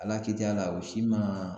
Ala ki t'i y'a la o si man